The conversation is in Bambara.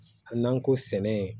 N'an ko sɛnɛ